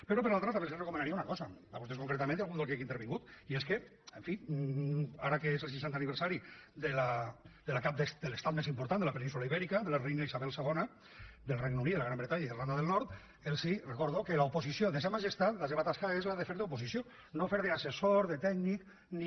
pe·rò per l’altra també els recomanaria una cosa a vos·tès concretament i a algun grup que ha intervingut i és que en fi ara que és el seixantè aniversari de la cap de l’estat més important de la península ibèrica de la reina isabel ii del regne unit de la gran bre·tanya i d’irlanda del nord els recordo que l’oposició de sa majestat la seva tasca és la de fer d’oposició no fer d’assessor de tècnic ni